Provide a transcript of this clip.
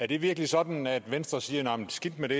det virkelig sådan at venstre siger at skidt med det